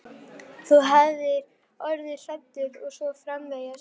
Þú hafir orðið hræddur og svo framvegis.